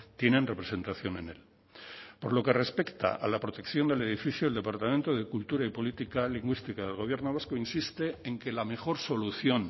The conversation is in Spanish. tienen representación en él por lo que respecta a la protección del edificio el departamento de cultura y políticas lingüísticas del gobierno vasco insiste en que la mejor solución